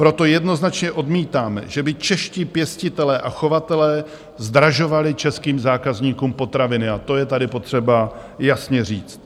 Proto jednoznačně odmítáme, že by čeští pěstitelé a chovatelé zdražovali českým zákazníkům potraviny, a to je tady potřeba jasně říct.